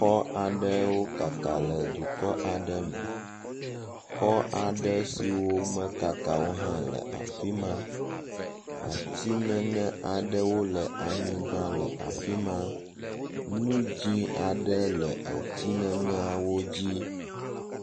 Exɔ aɖewo kaka le dukɔ aɖe me. Xɔ aɖewo siwo mekaka o hã le afi ma. Ati ŋeŋe aɖewo le anyigba le afi ma, nu dzɛ̃ aɖe le ati ŋeŋeawo dzi.